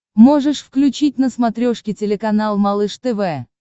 можешь включить на смотрешке телеканал малыш тв